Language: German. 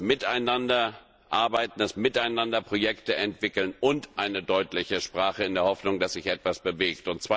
Wir brauchen das miteinander Arbeiten, das miteinander Projekte entwickeln und eine deutliche Sprache in der Hoffnung, dass sich etwas bewegt.